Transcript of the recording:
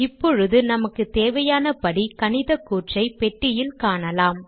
இப்பொழுது நமக்குத் தேவையான படி கணிதக்கூற்றை பெட்டியில் காணலாம்